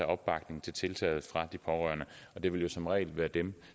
opbakning til tiltaget fra pårørende det vil jo som regel være dem